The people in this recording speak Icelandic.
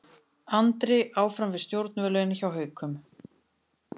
Andri áfram við stjórnvölinn hjá Haukum